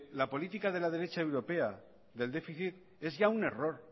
la política de la derecha europea del déficit ya es un error